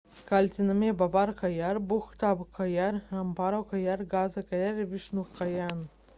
kaltinamieji baba kanjar bhutha kanjar rampro kanjar gaza kanjar ir višnu kanjar